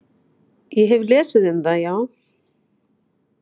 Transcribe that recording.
Ég hef lesið um það, já.